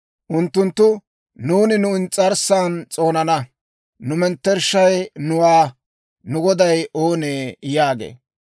Unttunttu, «Nuuni nu ins's'arssan s'oonana; nu mettershay nuwaa; nu goday oonee?» yaagiino.